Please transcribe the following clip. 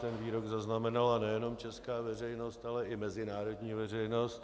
Ten výrok zaznamenala nejenom česká veřejnost, ale i mezinárodní veřejnost.